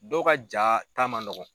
Dɔw ka jaa ta man nɔgɔ.